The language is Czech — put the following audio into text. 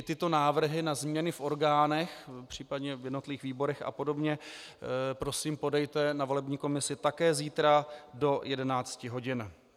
I tyto návrhy na změny v orgánech, případně v jednotlivých výborech a podobně, prosím podejte na volební komisi také zítra do 11 hodin.